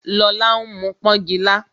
Lola ń mu pọngila